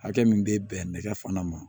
Hakɛ min bɛ bɛn nɛgɛ fana ma